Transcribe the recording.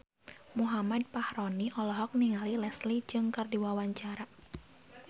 Muhammad Fachroni olohok ningali Leslie Cheung keur diwawancara